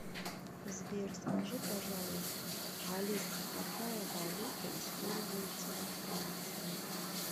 сбер скажи пожалуйста алиса какая валюта используется во франции